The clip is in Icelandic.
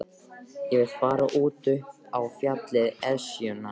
Ég vil fara út upp á fjallið, Esjuna.